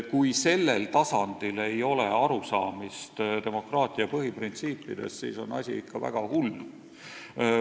Kui sellel tasandil ei ole arusaamist demokraatia põhiprintsiipidest, siis on asi ikka väga hull.